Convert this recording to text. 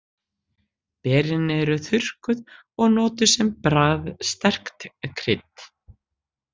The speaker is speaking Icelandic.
Berin eru þurrkuð og notuð sem bragðsterkt krydd.